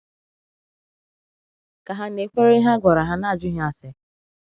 Ka hà na-ekwere ihe a gwara hà n’ajụghị ase?